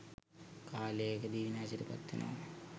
කාලයකදී විනාශයට පත් වෙනවා.